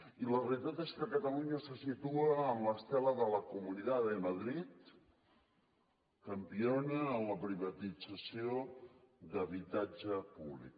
i la realitat és que catalunya se situa en l’estela de la comunidad de madrid campiona en la privatització d’habitatge públic